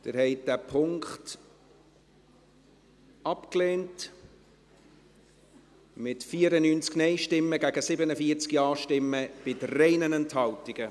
Sie haben diesen Punkt abgelehnt, mit 94 Nein- zu 47 Ja-Stimmen bei 3 Enthaltungen.